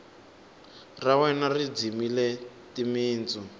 ra wena ri dzimile timitsu